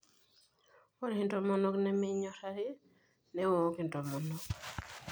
Ore intomonok nemenyorari newook intomonok.